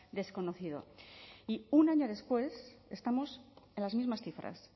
desconocido y un año después estamos en las mismas cifras